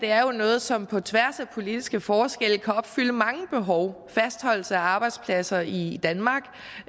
er jo noget som på tværs af politiske forskelle kan opfylde mange behov fastholdelse af arbejdspladser i danmark